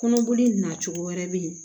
Kɔnɔboli nacogo wɛrɛ bɛ ye